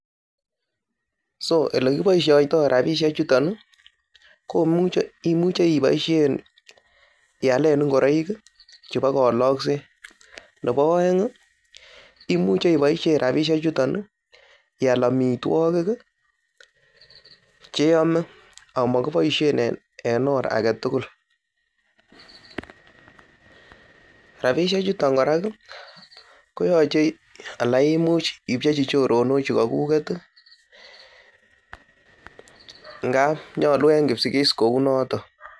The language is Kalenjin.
So ele kiboisioito rabishek chuton ko imuche iboisien ialen ngoroik chebo kolokset nebo oeng imuche iboisien rabishek chuton ial amitwogik che iyome amakiboisien en or age tugul, rabishek chuton kora, koyoche, ala imuch ipchechi choronok chukokuget ngab nyolu en Kipsigis kounoto.